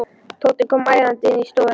Tóti kom æðandi inn í stofuna.